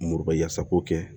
Moriba yasa ko kɛ